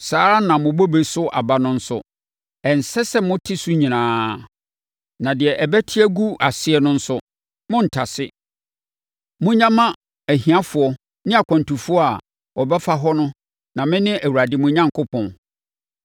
Saa ara na mo bobe so aba no nso, ɛnsɛ sɛ mote so nyinaa. Na deɛ ɛbɛte agu aseɛ no nso, monntase. Monnya mma ahiafoɔ ne akwantufoɔ a wɔbɛfa hɔ no na mene Awurade mo Onyankopɔn.